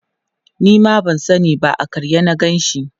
Nima ban sani ba a karye na Ganshi